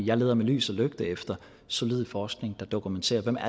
jeg leder med lys og lygte efter solid forskning der dokumenterer